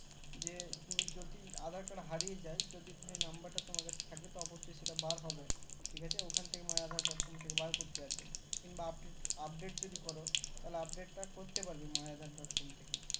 যে তুমি যদি aadhar card হারিয়ে যায় যদি number টা তোমার কাছে থাকে অবস্যই সেটা বার হবে ঠিক আছে ওখান থেকে my aadhar dot com থেকে বার করতে হবে কিনবা Update জোতি করো তাহলে Update টা করতে পারবে my aadhar dot com থেকে